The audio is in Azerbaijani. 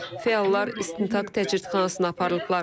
Fəallar istintaq təcridxanasına aparılıblar.